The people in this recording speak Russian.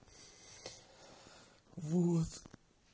вот